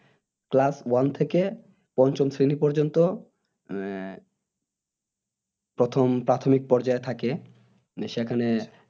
কেলাস ওয়ান থেকে পঞ্চম শ্রেণী পর্যন্ত উম প্রথম প্রাথমিক পর্যায় থাকে উম সেখানে